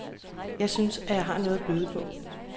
Jeg synes, at jeg har noget at byde på.